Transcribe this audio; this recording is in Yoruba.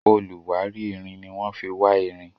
oluwari ìrìn ní wan fí wá ìrìn